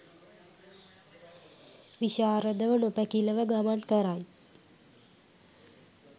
විශාරදව නොපැකිලව ගමන් කරයි.